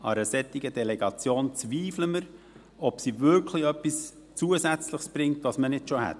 An einer solchen Delegation zweifeln wir, ob sie wirklich etwas Zusätzliches bringt, das wir nicht schon haben.